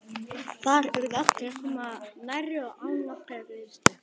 Þar urðu allir að koma nærri og án nokkurrar greiðslu.